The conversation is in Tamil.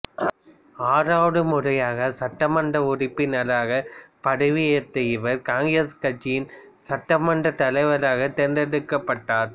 ஆறாவது முறையாக சட்டமன்ற உறுப்பினராக பதவியேற்ற இவர் காங்கிரசு கட்சியின் சட்டமன்ற தலைவராகத் தேர்ந்தெடுக்கப்பட்டார்